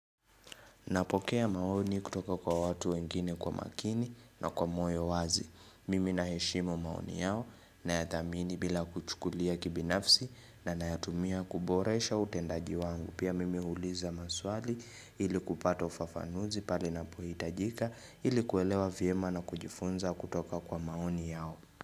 Napokea maoni kutoka kwa watu wengine kwa makini na kwa moyo wazi. Mimi naheshimu maoni yao na ya thamini bila kuchukulia kibinafsi na na ya tumia kuboresha utendaji wangu. Pia mimi huuliza maswali ili kupata ufafanuzi pale ina pohi itajika ili kuelewa vyema na kujifunza kutoka kwa maoni yao.